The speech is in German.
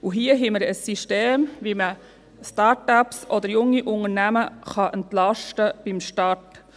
Hier haben wir ein System, wie man Start-ups oder junge Unternehmen beim Start entlasten kann.